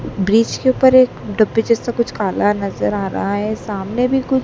bridge के ऊपर एक डब्बे जैसा कुछ काला नजर आ रहा है सामने भी कु--